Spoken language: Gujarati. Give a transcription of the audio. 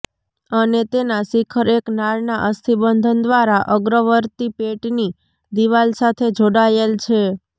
અને તેના શિખર એક નાળના અસ્થિબંધન દ્વારા અગ્રવર્તી પેટની દીવાલ સાથે જોડાયેલ છે